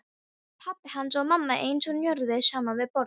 Pabbi hans og mamma eins og njörvuð saman við borðið.